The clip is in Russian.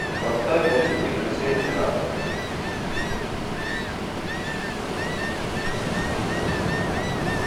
поставь будильник на семь утра